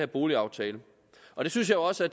boligaftale og jeg synes også at